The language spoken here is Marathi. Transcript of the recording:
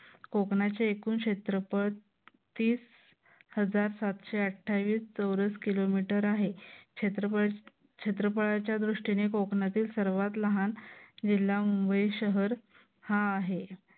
कोकणाचे एकूण क्षेत्रफळ तीस हजार सातशे अठ्ठावीस चौरस किलोमीटर आहे. क्षेत्रफळ क्षेत्रफळाच्या दृष्टीने कोकणातील सर्वात लहान जिल्हा मुंबई शहर हा आहे.